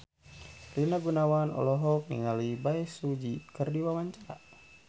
Rina Gunawan olohok ningali Bae Su Ji keur diwawancara